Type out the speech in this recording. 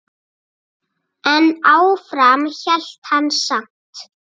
En áfram hélt hann samt.